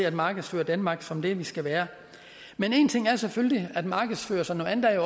at markedsføre danmark som det vi skal være men en ting er selvfølgelig at markedsføre sådan